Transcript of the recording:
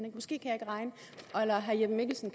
måske kan herre jeppe mikkelsen